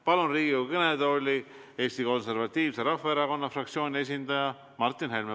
Palun Riigikogu kõnetooli Eesti Konservatiivse Rahvaerakonna fraktsiooni esindaja Martin Helme.